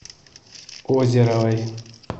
озеровой